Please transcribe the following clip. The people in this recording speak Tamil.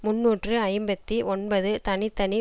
முன்னூற்று ஐம்பத்தி ஒன்பது தனி தனி